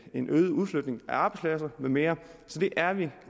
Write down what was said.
en øget udflytning af arbejdspladser med mere så det er vi